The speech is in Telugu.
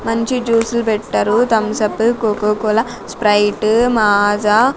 మంచి జ్యూసులు పెట్టారు Thums Up Coca Cola Sprite Maaza --